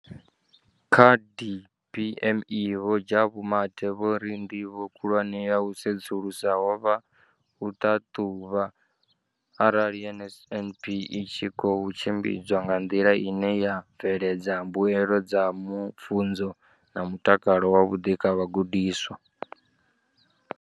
Kha DPME, vho Jabu Mathe, vho ri ndivho khulwane ya u sedzulusa ho vha u ṱhaṱhuvha arali NSNP i tshi khou tshimbidzwa nga nḓila ine ya bveledza mbuelo dza pfunzo na mutakalo wavhuḓi kha vhagudiswa.